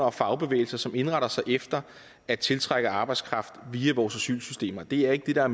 og fagbevægelser som indretter sig efter at tiltrække arbejdskraft via vores asylsystem det er ikke det der